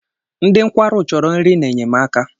Ndị nkwarụ chọrọ nri na-enyemaka.